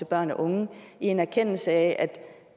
børn og unge i en erkendelse af at